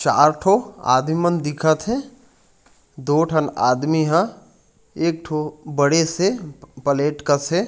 चार ठो आदमी मन दिखत है। दो ठन आदमी हा एकठो बड़े से प प्लेट कसे --